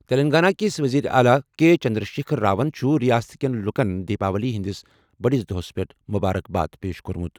تیٚلنٛگانہ کِس ؤزیٖرِ اعلیٰ کے چنٛدرٛشیکھر راون چُھ رِیاست کیٚن لُکن دیپاولی ہس پیٚٹھ مُبارک باد دِژمٕژ۔